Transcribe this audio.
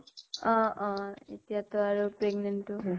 অʼ অʼ । এতিয়া তো আৰু pregnant তো হয়।